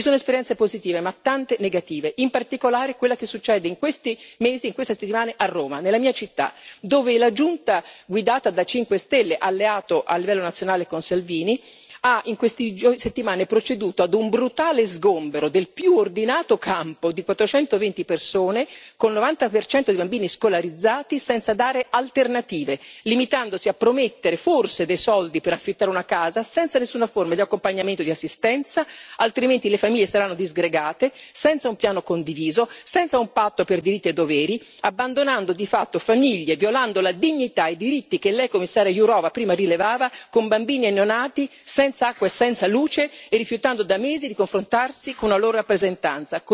Ci sono esperienze positive ma tante negative, in particolare quella che si registra in questi mesi e in queste settimane a Roma, nella mia città, dove la giunta guidata dal Movimento 5 Stelle, alleato a livello nazionale con Salvini, ha proceduto, in queste settimane, a un brutale sgombero del più ordinato campo di 420 persone, con il 90 di bambini scolarizzati, senza dare alternative, limitandosi a promettere forse dei soldi per affittare una casa, senza nessuna forma di accompagnamento e di assistenza, altrimenti le famiglie saranno disgregate, senza un piano condiviso, senza un patto per diritti e doveri, abbandonando di fatto famiglie, violando la dignità e i diritti che Lei, Commissaria Jourová, prima rilevava, con bambini e neonati, senza acqua e senza luce e rifiutando da mesi di confrontarsi con una loro rappresentanza.